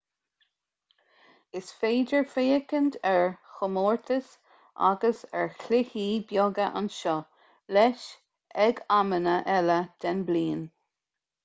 is féidir féachaint ar chomórtais agus ar chluichí beaga anseo leis ag amanna eile den bhliain